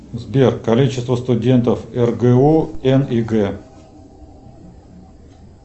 сбер количество студентов ргу н и г